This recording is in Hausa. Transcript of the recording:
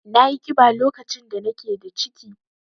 Nayi ƙiba lokacin da nake da ciki.